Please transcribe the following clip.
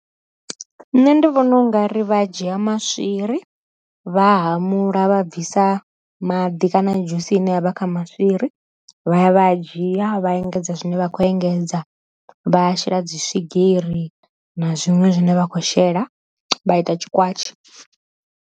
Nṋe ndi vhona u nga ri vha dzhia maswiri, vha hamula vha bvisa maḓi kana dzhusi ine yavha kha maswiri, vha ya vha dzhia vha engedza zwine vha kho engedza vha shela dzi swigiri na zwiṅwe zwine vha khou shela vha ita tshi kwatshi.